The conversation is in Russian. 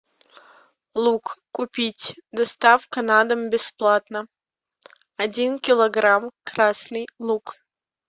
лук купить доставка на дом бесплатно один килограмм красный лук